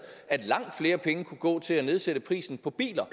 at langt flere penge kunne gå til at nedsætte prisen på biler